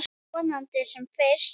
Vonandi sem fyrst.